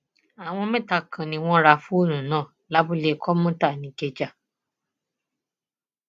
àwọn mẹta kan ni wọn ra fóònù náà lábúlé kọmùtà nìkẹjà